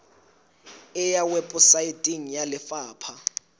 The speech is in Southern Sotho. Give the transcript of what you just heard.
e ya weposaeteng ya lefapha